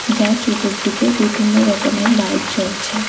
যার চতুর্দিকে বিভিন্ন রকমের লাইট জ্বলছে।